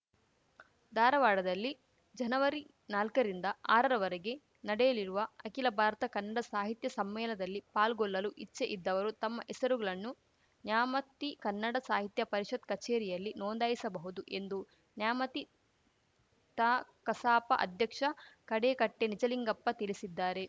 ಧಾರವಾಡದಲ್ಲಿ ಜನವರಿ ನಾಲ್ಕರಿಂದ ಆರರವರೆಗೆ ನಡೆಯಲಿರುವ ಅಖಿಲ ಭಾರತ ಕನ್ನಡ ಸಾಹಿತ್ಯಸಮ್ಮೇಲದಲ್ಲಿ ಪಾಲ್ಗೊಳ್ಳಲು ಇಚ್ಚೆ ಇದ್ದವರು ತಮ್ಮ ಹೆಸರುಗಲನ್ನು ನ್ಯಾಮತಿ ಕನ್ನಡ ಸಾಹಿತ್ಯ ಪರಿಷತ್‌ ಕಚೇರಿಯಲ್ಲಿ ನೋಂದಾಯಿಸಬಹುದು ಎಂದು ನ್ಯಾಮತಿ ತಾಕಸಾಪ ಅಧ್ಯಕ್ಷ ಗಡೇಕಟ್ಟೆನಿಜಲಿಂಗಪ್ಪ ತಿಳಿಸಿದ್ದಾರೆ